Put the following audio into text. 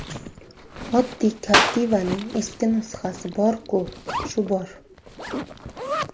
Oddiy Captiva’ning eski nusxasi bor-ku, shu bor.